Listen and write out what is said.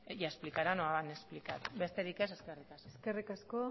ya explicaran o han explicado besterik ez eskerrik asko eskerrik asko